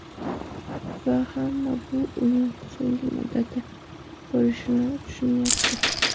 Va hamma bu uning so‘nggi muddati bo‘lishini tushunyapti.